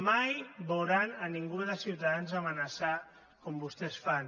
mai veuran ningú de ciutadans amenaçar com vostès fan